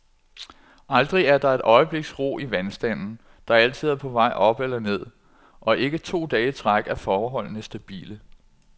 Aldrig er der et øjebliks ro i vandstanden, der altid er på vej op eller ned, og ikke to dage i træk er forholdene stabile.